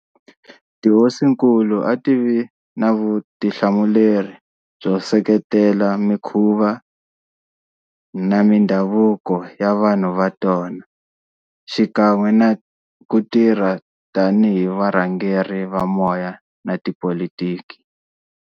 Tihosinkulu a ti vi na vutihlamuleri byo seketela mikhuva na mindhavuko ya vanhu va tona, xikan'we na ku tirha tani hi varhangeri va moya na tipolitiki.